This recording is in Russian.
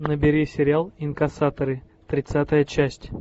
набери сериал инкассаторы тридцатая часть